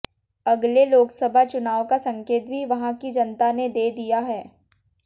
अगले लोकसभा चुनाव का संकेत भी वहां की जनता ने दे दिया है